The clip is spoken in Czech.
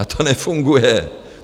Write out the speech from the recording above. A to nefunguje.